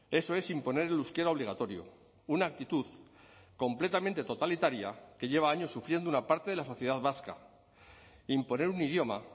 eso es imponer el euskera obligatorio una actitud completamente totalitaria que lleva años sufriendo una parte de la sociedad vasca imponer un idioma